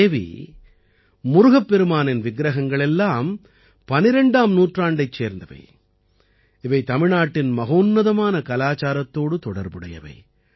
தேவி முருகப்பெருமானின் விக்ரகங்கள் எல்லாம் 12ஆம் நூற்றாண்டைச் சேர்ந்தவை இவை தமிழ்நாட்டின் மகோன்னதமான கலாச்சாரத்தோடு தொடர்புடையவை